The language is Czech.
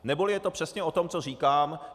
Neboli je to přesně o tom, co říkám.